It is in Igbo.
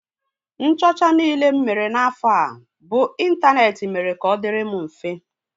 Nchọcha niile m mere n'afọ a bụ ịntaneetị mere ka ọ dịịrị m mfe